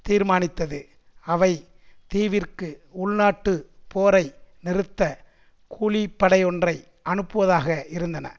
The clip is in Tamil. தீர்மானித்தது அவை தீவிற்கு உள்நாட்டுப் போரை நிறுத்த கூலிப்படையொன்றை அனுப்புவதாக இருந்தன